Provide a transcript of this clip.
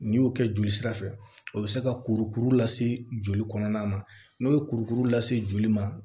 N'i y'o kɛ joli sira fɛ o bɛ se ka kurukuru lase joli kɔnɔna ma n'o ye kurukuru lase joli ma